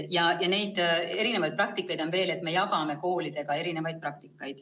Niisuguseid erinevaid praktikaid on veel ja me jagame neid koolidega.